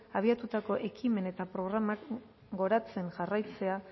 abiatutako ekimen eta programak goratzen jarraitzea